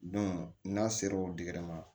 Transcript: n'a sera o ma